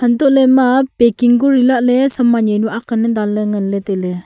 hantoh lah ley ema packing kori lah ley saman jawnu ang ley dan ngan ley tai ley.